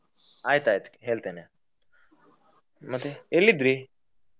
ಆಯ್ತ್ ಆಯ್ತ್ ಹೇಳ್ತೆನೆ. ಮತ್ತೆ ಎಲ್ಲಿದ್ರಿ?